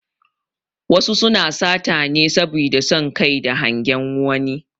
Wasu suna sata ne saboda son Kai da hangen wani